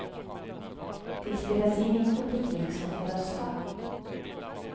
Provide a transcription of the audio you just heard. Det spelas in inför publik som får rösta.